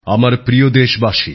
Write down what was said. নতুনদিল্লি ৩০শে মে ২০২১